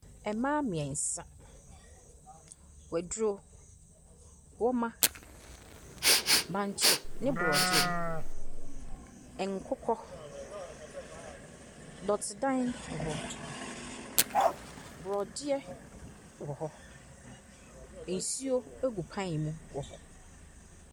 Mmaa mmiɛnsa, waduro, wɔma, bankye ne borɔdeɛ, nkokɔ, dɔtedanwɔ hɔ. Borɔdeɛ wɔ hɔ. Nsuo gu pan mu hɔ.